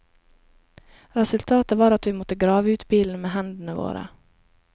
Resultatet var at vi måtte grave ut bilen med hendene våre.